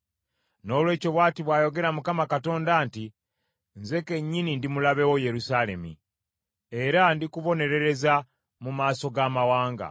“Noolwekyo bw’ati bw’ayogera Mukama Katonda nti, Nze kennyini ndi mulabe wo, Yerusaalemi, era ndikubonerereza mu maaso g’amawanga.